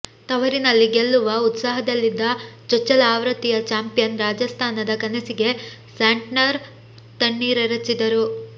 ತವರಿನಲ್ಲಿ ಗೆಲ್ಲುವ ಉತ್ಸಾಹದಲ್ಲಿದ್ದ ಚೊಚ್ಚಲ ಆವೃತ್ತಿಯ ಚಾಂಪಿಯನ್ ರಾಜಸ್ಥಾನದ ಕನಸಿಗೆ ಸ್ಯಾಂಟ್ನರ್ ತಣ್ಣೀರೆರಚಿದರು